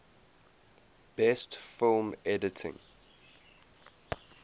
best film editing